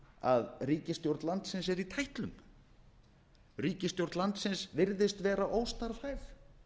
að ríkisstjórn landi er í tætlum ríkisstjórn landsins virðist vera óstarfhæf